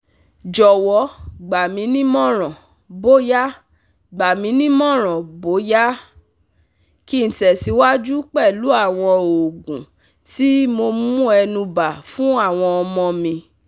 Jowo gbaminimoran boya gbaminimoran boya ki n tesiwaju pelu awon oogun ti mo mu enuba funawon omo mi